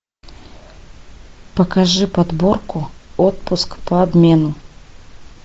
покажи подборку отпуск по обмену